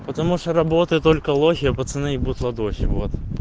потому что работают только лохи а пацаны ебут ладохи вот